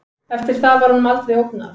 Eftir það var honum aldrei ógnað